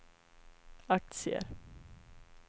aktier